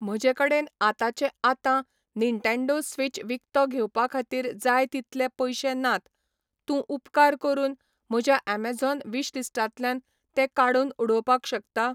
म्हजेकडेन आतांचे आतां निन्टेन्डो स्विच विकतो घेवपाखातीर जाय तितले पयशे नात तूं उपकार करून म्हज्या ऍमेझॉन विशलिस्टांतल्यांन तें काडूनउडोवपाक शकता?